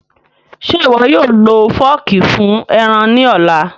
Ṣe iwọ yóò lo fọọki fun ẹran ni ọla?